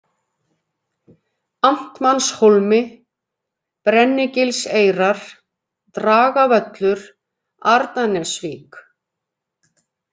Amtmannshólmi, Brennigilseyrar, Dragavöllur, Arnarnesvík